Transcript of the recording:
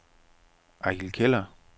Eigil Keller